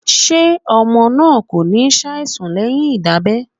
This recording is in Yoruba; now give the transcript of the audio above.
Ṣé ọmọ náà kò ní ṣàìsàn leyin Ìdábẹ́?..